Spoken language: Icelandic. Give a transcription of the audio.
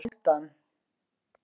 Hálfdan